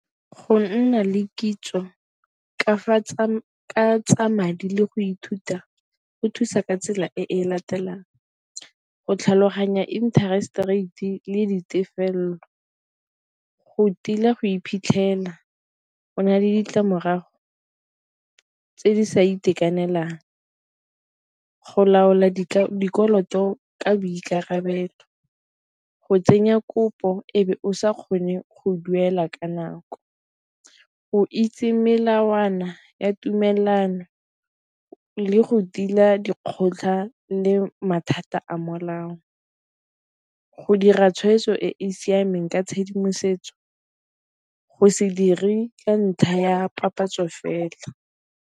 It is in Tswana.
Go nna le kitso ka tsa madi le go ithuta go thusa ka tsela e latelang go tlhaloganya interest rate le ditefelelo, go tila go iphitlhela o na le ditlamorago tse di sa itekanelang, go laola di dikoloto ka boikarabelo, go tsenya kopo ebe o sa kgone go duela ka nako, go itse melawana ya tumelelano le go tila dikgotlhang le mathata a molao, go dira tshweetso e e siameng ka tshedimosetso, go se dire ka ntlha ya papatso fela.